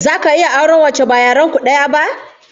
Zaka iya auren wacce ba yaren ku daya ba?